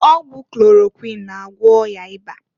Ọgwụ klorokwuin na-agwọ ọya ịba.